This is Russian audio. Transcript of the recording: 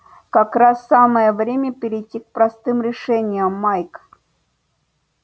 как раз самое время перейти к простым решениям майк